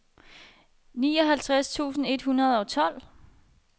nioghalvtreds tusind et hundrede og tolv